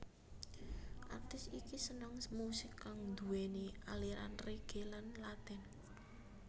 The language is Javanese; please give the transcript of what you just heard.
Artis iki seneng musik kang nduwéni aliran reggae lan latin